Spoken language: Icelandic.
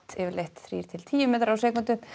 yfirleitt þrír til tíu metrar á sekúndu